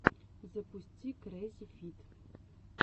запусти крэззифид